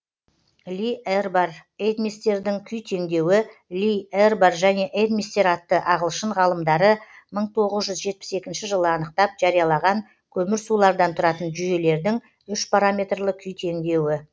ли эрбар эдмистердің күй теңдеуі ли эрбар және эдмистер атты ағылшын ғалымдары мың тоғыз жүз жетпіс екінші жылы анықтап жариялаған көмірсулардан тұратын жүйелердің үшпараметрлі күй теңдеуі